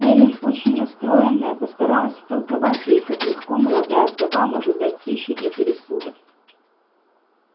эллин очень расстроенная постаралась втолковать ей как легко молодая вдова может дать пищу для пересудов